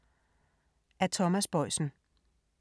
Af Thomas Boisen